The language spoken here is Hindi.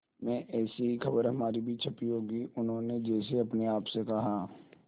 में ऐसी ही खबर हमारी भी छपी होगी उन्होंने जैसे अपने आप से कहा